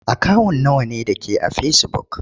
Akawun nawa ne da ke a fesibuk?